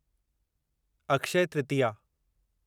Akshaya Tritiya